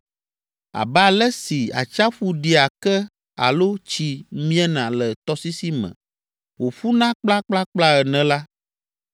Abe ale si atsiaƒu ɖia ke alo tsi miena le tɔsisi me wòƒuna kplakplakpla ene la,